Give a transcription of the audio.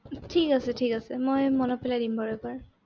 ঠিক আছে, ঠিক আছে মই মনত পেলাই দিম বাৰু এবাৰ।